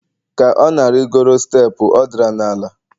ka ọ na-arịgoro steepụ ọ dara n'ala